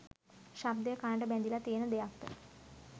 ශබ්දය කණට බැඳිල තියෙන දෙයක්ද?